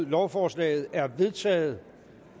lovforslaget er vedtaget